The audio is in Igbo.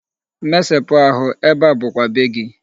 Mesepụ ahụ, ebe a bụkwa be gị.